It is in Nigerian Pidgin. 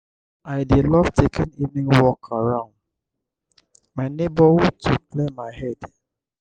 i dey love taking evening walk around my neighborhood to clear my head.